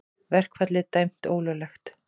Verkfallið dæmt ólöglegt